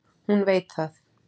Hún veit það.